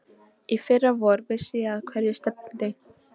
Í fyrra vor vissi ég að hverju stefndi.